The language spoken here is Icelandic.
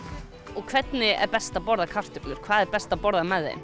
og hvernig er best að borða kartöflur hvað er best að borða með þeim